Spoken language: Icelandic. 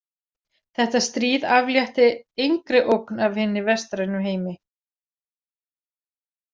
Þetta stríð aflétti engri ógn af hinni vestrænu heimi.